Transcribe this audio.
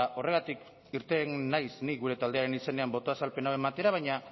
horregatik irten naiz ni gure taldearen izenean botoa azalpena ematera baina